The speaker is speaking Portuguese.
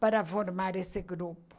para formar esse grupo.